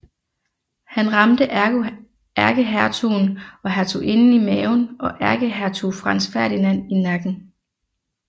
Han ramte ærkehertugen og hertuginden i maven og ærkehertug Franz Ferdinand i nakken